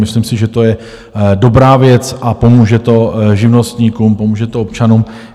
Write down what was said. Myslím si, že to je dobrá věc, a pomůže to živnostníkům, pomůže to občanům.